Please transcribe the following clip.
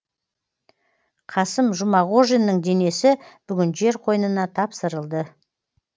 қасым жұмағожиннің денесі бүгін жер қойнына тапсырылды